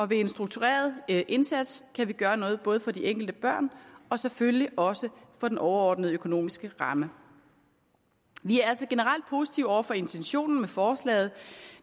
ved en struktureret indsats kan vi gøre noget både for de enkelte børn og selvfølgelig også for den overordnede økonomiske ramme vi er altså generelt positive over for intentionen med forslaget